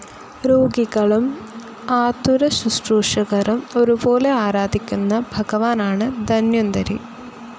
രോഗികളും ആതുരശ്രുശൂഷകരും ഒരുപോലെ ആരാധിക്കുന്ന ഭഗവാനാണ് ധന്വന്തരി.